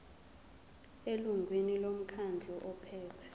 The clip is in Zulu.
elungwini lomkhandlu ophethe